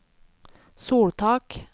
soltak